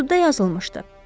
Məktubda yazılmışdı.